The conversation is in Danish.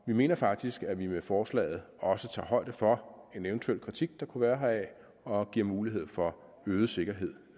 mener faktisk at vi med forslaget også tager højde for en eventuel kritik der kunne være heraf og giver mulighed for øget sikkerhed